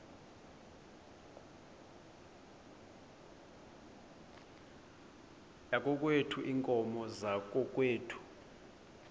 yakokwethu iinkomo zakokwethu